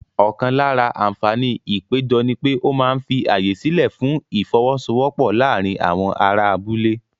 Ọ̀kan lára àǹfààní ìpéjọ ni pé ó máa ń fi ààyè sílẹ̀ fún ìfọ́wọ́sọwọ́pọ̀ láàárín àwọn ará abúlé.